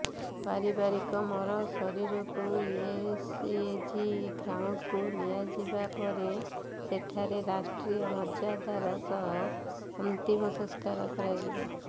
ପାରିକରଙ୍କ ମରଶରୀରକୁ ଏସଏଜି ଗ୍ରାଉଣ୍ଡକୁ ନିଆଯିବା ପରେ ସେଠାରେ ରାଷ୍ଟ୍ରୀୟ ମର୍ଯ୍ୟାଦାର ସହ ଅନ୍ତିମ ସଂସ୍କାର କରାଯିବ